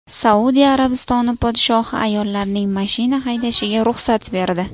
Saudiya Arabistoni podshohi ayollarning mashina haydashiga ruxsat berdi.